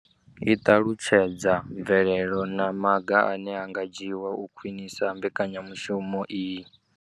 I ṱalutshedza mvelelo na maga ane a nga dzhiwa u khwinisa mbekanyamushumo iyi.